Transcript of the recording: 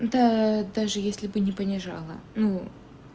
да даже если бы не понижало ну